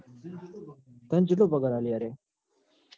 તન ચેટલો પગાર આલ યાર એમ